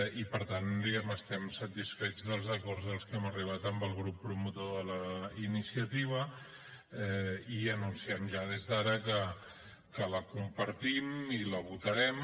i per tant diguem ne estem satisfets dels acords als que hem arribat amb el grup promotor de la iniciativa i anunciem ja des d’ara que la compartim i la votarem